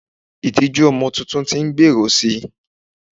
itiju ọmọ Titun ti n gberu si